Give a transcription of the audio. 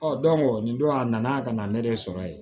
nin don a nana ka na ne de sɔrɔ yen